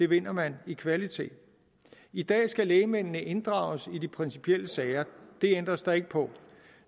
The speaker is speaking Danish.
vinder man i kvalitet i dag skal lægmændene inddrages i de principielle sager det ændres der ikke på